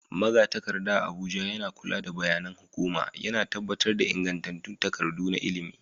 Magatakarda a Abuja yana kula da bayanan hukuma, yana tabbatar da ingantattun takardu na lamuran ilimi,